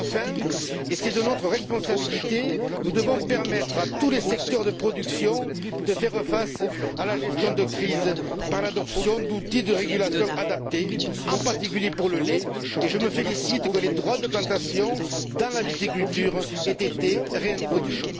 Enfin, et cela relève de notre responsabilité, nous devons permettre à tous les secteurs de production de faire face à la gestion de la crise par l'adoption d'outils de régulation adaptés, en particulier, pour le lait, et je me félicite que les droits de plantation dans la viticulture aient été réintroduits.